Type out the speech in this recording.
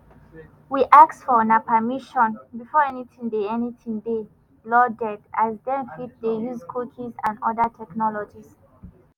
we ask for una permission before anytin dey anytin dey loaded as dem fit dey use cookies and oda technologies.